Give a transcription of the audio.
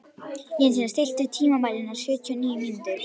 Jensína, stilltu tímamælinn á sjötíu og níu mínútur.